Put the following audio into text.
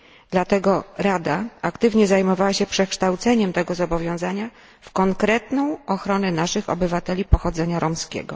Dlatego Rada aktywnie zajmowała się przekształceniem tego zobowiązania w konkretną ochronę naszych obywateli pochodzenia romskiego.